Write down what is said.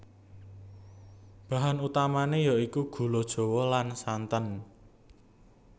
Bahan utamané ya iku gula Jawa lan santen